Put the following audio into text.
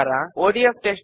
4 వ స్టెప్